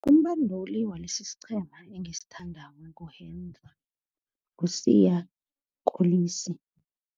Umbanduli walelesi isiqhema engisithandako ngu-Siya Kolisi.